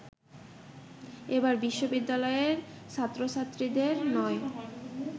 এবার বিশ্ববিদ্যালয়ের ছাত্রছাত্রীদের নয়